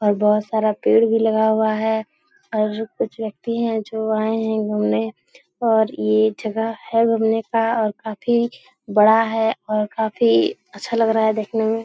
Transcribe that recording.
और बहोत सारा पेड़ भी लगाया हुआ है और कुछ व्यक्ति हैं जो आए हैं घूमने और ये जगह है घूमने का और काफी बड़ा है और काफी अच्छा लग रहा है देखने में ।